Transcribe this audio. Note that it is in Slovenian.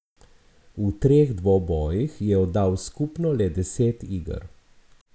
V treh dvobojih je oddal skupno le deset iger.